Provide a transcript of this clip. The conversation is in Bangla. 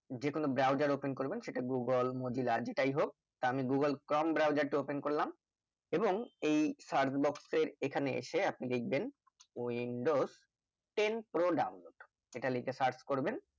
যে কোনো browser open করবেন সেটা google mozilla আর যেটাই হোক তা আমি google chrome browser তা open করলাম এবং এই search box এর এখানে আসে আপনি দেখবেন ওই windows ten pro download যেটা লিখে search করবেন